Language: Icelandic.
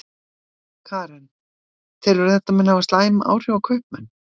Karen: Telurðu að þetta muni hafa slæm áhrif á kaupmenn?